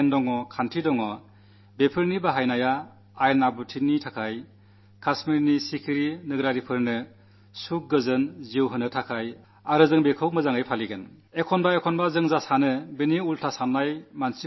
നമ്മുടെ പക്കലുള്ള ശക്തി നിയമങ്ങൾ എന്നിവ ഉപയോഗിക്കുന്നത് ക്രമസമാധാനത്തിനു വേണ്ടിയാണ് കശ്മീരിലെ സാധാരണ ജനങ്ങൾക്ക് സുഖപൂർണ്ണവും ശാന്തവുമായ ജീവിതത്തിനു വേണ്ടിയാണ് അവ ശരിയായ രീതിയിൽ നമ്മുടെ സുരക്ഷാസേനകൾ പാലിക്കണമെന്നും ഞാൻ സുരക്ഷാസേനകളോട് പറയാനാഗ്രഹിക്കുന്നു